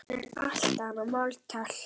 Um allt annað má tala.